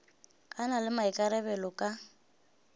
a na le maikarabelo ka